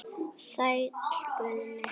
Sæll Guðni.